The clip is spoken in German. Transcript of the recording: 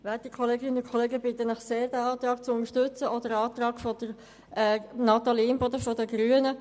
Ich bitte Sie sehr, den Minderheitsantrag der Grünen ebenso wie den Einzelantrag Imboden zu unterstützen.